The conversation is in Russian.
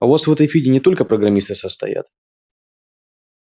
а у вас в этой фиде не только программисты состоят